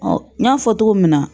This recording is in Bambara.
Ɔ n y'a fɔ cogo min na